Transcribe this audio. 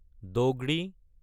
degree